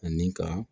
Ani ka